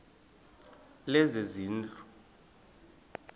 lezezindlu